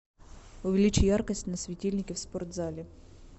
увеличь яркость на светильнике в спортзале